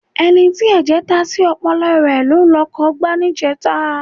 Ẹni tí ẹ̀jẹ̀ ta sí ọpọlọ rẹ ló lọkọ̀ gbá níjẹta.